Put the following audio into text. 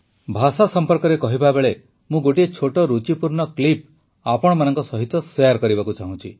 ଭାଷା ସମ୍ପର୍କରେ କହିବା ବେଳେ ମୁଁ ଗୋଟିଏ ଛୋଟ ରୁଚିପୂର୍ଣ୍ଣ କ୍ଲିପ୍ ଆପଣମାନଙ୍କ ସହିତ ଶେୟାର କରିବାକୁ ଚାହୁଁଛି